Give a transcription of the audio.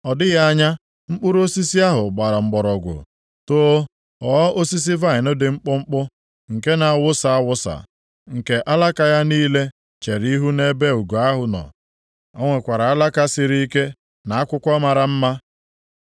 Ọ dịghị anya, mkpụrụ osisi ahụ gbara mgbọrọgwụ, too, ghọọ osisi vaịnị dị mkpụmkpụ, nke na-awasa awasa, nke alaka ya niile chere ihu nʼebe ugo ahụ nọ. O nwekwara alaka siri ike, na akwụkwọ mara mma.